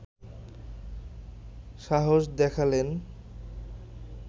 সাহস দেখালেন